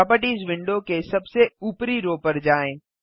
properties window के सबसे ऊपरी रो पर जाएँ